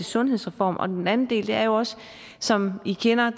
sundhedsreform og den anden del er jo også det som i kender